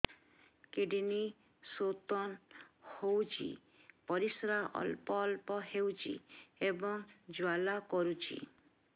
kidney stone ହୋଇଛି ପରିସ୍ରା ଅଳ୍ପ ଅଳ୍ପ ହେଉଛି ଏବଂ ଜ୍ୱାଳା କରୁଛି